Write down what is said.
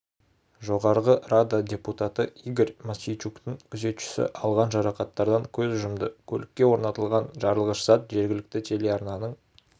жоғарғы рада депутаты игорь мосийчуктің күзетшісі алған жарақаттардан көз жұмды көлікке орнатылған жарылғыш зат жергілікті телеарнаның